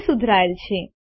તે સુધરાયેલ છે